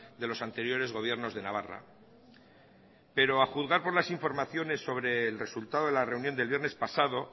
de los anteriores gobiernos de navarra pero a juzgar por las informaciones sobre el resultado de la reunión del viernes pasado